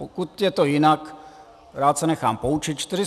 Pokud je to jinak, rád se nechám poučit.